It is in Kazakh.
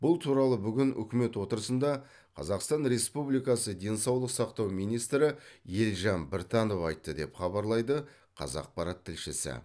бұл туралы бүгін үкімет отырысында қазақстан респібликасы денсаулық сақтау министрі елжан біртанов айтты деп хабарлайды қазақпарат тілшісі